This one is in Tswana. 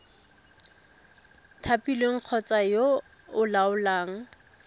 thapilweng kgotsa yo o laolang